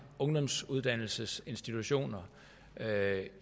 ungdomsuddannelsesinstitutioner